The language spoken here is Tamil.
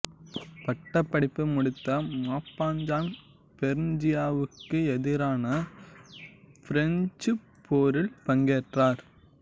பட்டப்படிப்பு முடித்த மாப்பசான் பெர்சியாவிக்கு எதிரான ஃபிரெஞ்சுப் போரில் பங்கேற்றார்